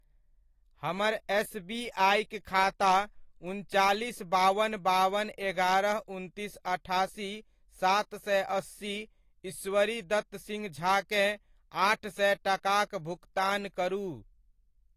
हमर एसबीआइ'क खाता उनचालीस बावन बावन एगारह उनतीस अठासी सात सए अस्सी ईश्वरीदत्त सिंह झाकेँ आठ सए टकाक भुकतान करू।